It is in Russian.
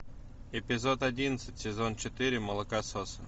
эпизод одиннадцать сезон четыре молокососы